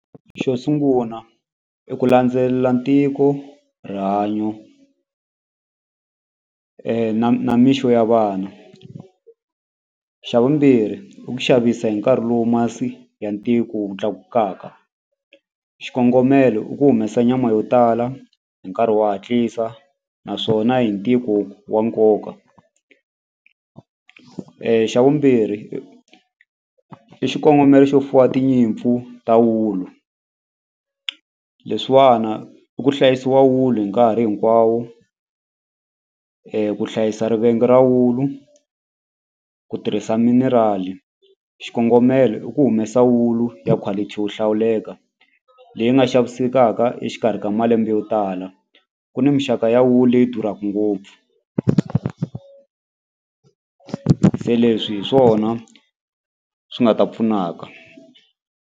Xo sunguna i ku landzelela ntiko rihanyo na na mixo ya vana xa vumbirhi i ku xavisa hi nkarhi lowu masi ya ntiko wu tlakukaka xikongomelo i ku humesa nyama yo tala hi nkarhi wa hatlisa naswona hi ntiko wa nkoka, xa vumbirhi i xikongomelo xo fuwa tinyimpfu ta wulu leswiwana i ku hlayisiwa wulu hi nkarhi hinkwawo ku hlayisa rivenga ra wulu ku tirhisa minerali xikongomelo i ku humesa wulu ya quality wo hlawuleka leyi nga xavisekaka exikarhi ka malembe yo tala ku ni mixaka ya wulu leyi durhaku ngopfu se leswi hi swona swi nga ta pfunaka.